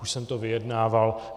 Už jsem to vyjednával.